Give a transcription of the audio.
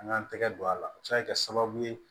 An ŋan tɛgɛ don a la a bɛ se ka kɛ sababu ye